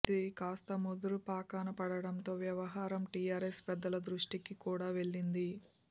ఇది కాస్తా ముదురుపాకాన పడటంతో వ్యవహారం టీఆర్ఎస్ పెద్దల దృష్టికి కూడా వెళ్లింది